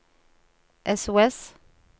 sos